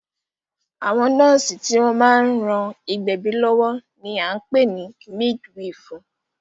Àwọn nọ́ọ̀sì tí wọ́n máa ń ran ìgbẹ̀bí lọ́wọ́ ní a ń pè ní mídwifù.